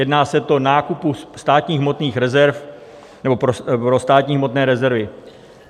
Týká se to nákupu státních hmotných rezerv nebo pro státní hmotné rezervy.